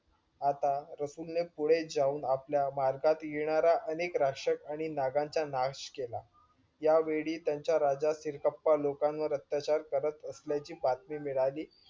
आता रसूल ने पुढे जाऊन आपल्या भारतात येणाऱ्या अनेक राशक आणि नागांचा नाश केला. यावेळी त्यांचा राजा सिरकप्पा लोकांवर अत्याचार करत असल्याची बातमी मिळाली